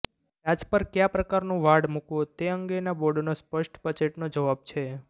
ડાચ પર કયા પ્રકારનું વાડ મૂકવો તે અંગેના બોર્ડનો સ્પષ્ટ બજેટનો જવાબ છે